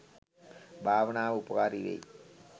භාවනාව උපකාරී වෙයි.